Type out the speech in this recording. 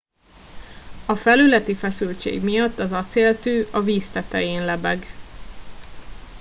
a felületi feszültség miatt az acéltű a víz tetején lebeg